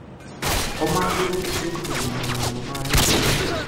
Homa nduru icungagirirĩa maruo ma gĩthũri